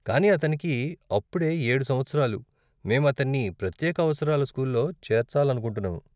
కానీ అతనికి అప్పుడే ఏడు సంవత్సరాలు, మేము అతన్ని ప్రత్యేక అవసరాల స్కూల్లో చేర్చాలనుకుంటున్నాము.